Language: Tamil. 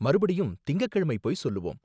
மறுபடியும் திங்கக்கிழமை போய் சொல்லுவோம்.